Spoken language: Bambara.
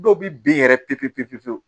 Dɔw bi bin yɛrɛ pepwu pewu